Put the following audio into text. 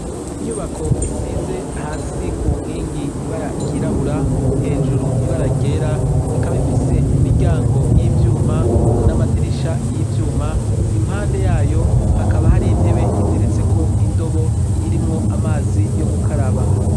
Inyubako isize hasi ku nkingi ibara ryirabura, hejuru ibara ryera ,ikaba ifise imiryango y'ivyuma n'amadirisha y'ivyuma. Impande y'ayo hakaba hari intebe itereteseko indobo irimwo amazi yo gukaraba.